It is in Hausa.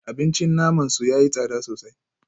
Abincin naman su yayi tsada sosai